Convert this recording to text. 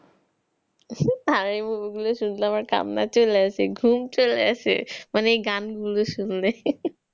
আর এই গুলো শুনলে আমার কান্না চলে আসে, ঘুম চলে আসে মানে এই গানগুলো শুনলে